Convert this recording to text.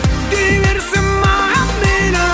дей берсін маған мейлі